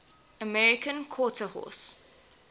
american quarter horse